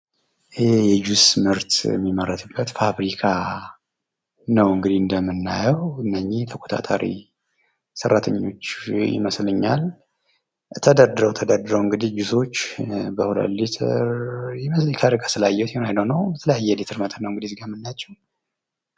ይህ የጁስ ምርት የሚመረትበት ፋብሪካ ነዉ እንግዲህ እንደምናየዉ። እነኚህ ተቆጣጣሪ ሰራተኞች ይመስለኛል። ተደርድረዉ ተደርድረዉ እንግዲህ ጁሶች በ 2 ሊትር አይ ዶንት ኖዉ የተለያየ የሊትር መጠን ነዉ እዚህ ጋር የምናያቸዉ።